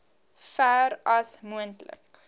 ver as moontlik